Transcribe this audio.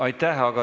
Aitäh!